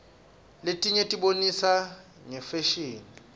letinye tibonisa ngefasihni